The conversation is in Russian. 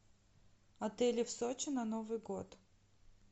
отели в сочи на новый год